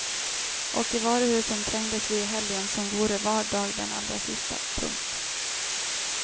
Och i varuhusen trängdes vi i helgen som vore var dag den allra sista. punkt